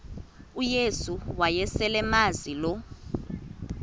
uyesu wayeselemazi lo